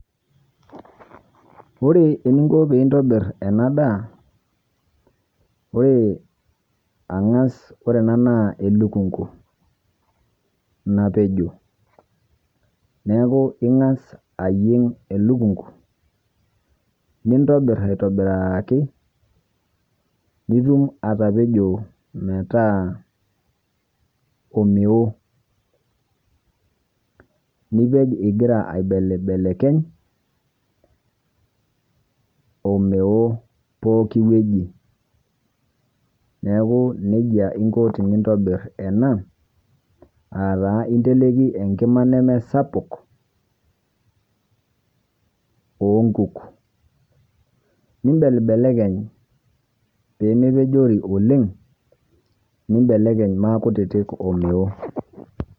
Ore eni inkoo pii etobiir ena ndaa, ore ang'as ore ena naa elikung'u nepejoo. Neeku ing'as ajiing'i elikung'u nitobiir aitobiraaki nituum atapejoo metaa omeoo. Nipeej egira aibelbelekeny' omeoo pooki wueji. Neeku nejaa inkoo tintobiir ena ataa intelekii enkimaa nee sapuk onkuuk nibelbelekeny' pee mee pejoori oleng nibelekeny' maa kutitik omeoo.